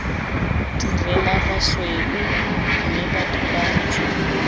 direla basweu mme batho bantsho